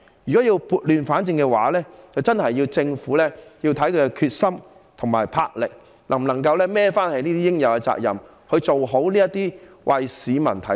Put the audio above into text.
如果要撥亂反正，真的須視乎政府的決心及魄力，是否足以負起這些應有的責任，處理好這些為市民提供服務的機構。